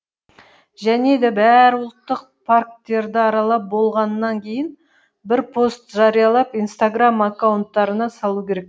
және де бәрі ұлттық парктерді аралап болғаннан кейін бір пост жариялап инстаграмм акаунттарына салу керек